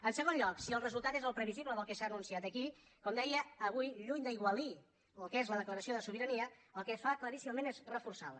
en segon lloc si el resultat és el previsible del que s’ha anunciat aquí com deia avui lluny d’aigualir el que és la declaració de sobirania el que es fa claríssimament és reforçar la